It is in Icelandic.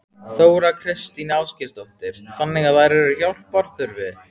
Þóra Kristín Ásgeirsdóttir: Þannig að þær eru hjálpar þurfi?